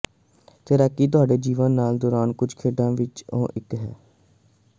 ਤੈਰਾਕੀ ਤੁਹਾਡੇ ਜੀਵਨ ਕਾਲ ਦੌਰਾਨ ਕੁਝ ਖੇਡਾਂ ਵਿੱਚੋਂ ਇੱਕ ਹੈ